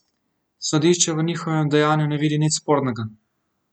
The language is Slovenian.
Sodišče v njihovem dejanju ne vidi nič spornega.